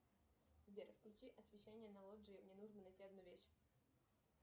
сбер включи освещение на лоджии мне нужно найти одну вещь